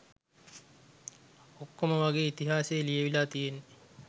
ඔක්කොම වගේ ඉතිහාසය ලියවිලා තියෙන්නේ